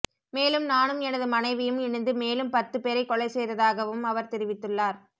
மேலும் நானும் எனது மனைவியும் இணைந்து மேலும் பத்துப்பேரை கொலை செய்ததாகவும் அவர் தெரிவித்துள்ளார்